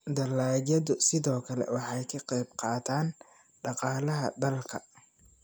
dalagyadu sidoo kale waxay ka qayb qaataan dhaqaalaha dalka